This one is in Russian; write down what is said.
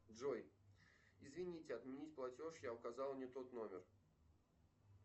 джой извините отменить платеж я указал не тот номер